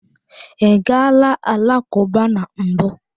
I gaala alakụba na mbụ?